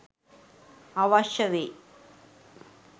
අවශ්‍ය වෙයි.